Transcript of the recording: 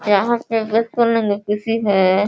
यहाँ पे है।